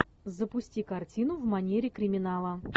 запусти картину в манере криминала